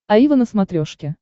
аива на смотрешке